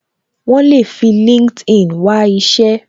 Wọn le fi LinkedIn wá isẹ